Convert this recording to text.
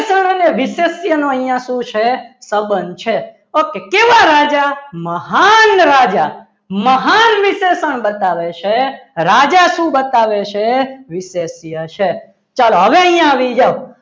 વિશેષનો અહીંયા શું છે સંબંધ છે okay કેવા રાજા મહાન રાજા મહાન વિશેષણ બતાવે છે રાજા શું બતાવે છે વિશેષ્ય છે ચલો હવે અહીંયા આવી જાવ